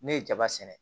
Ne ye jaba sɛnɛ